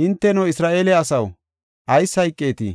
Hinteno, Isra7eele asaw, ayis hayqeetii?